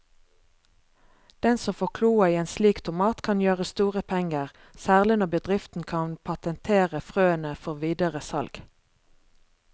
Den som får kloa i en slik tomat kan gjøre store penger, særlig når bedriften kan patentere frøene før videre salg.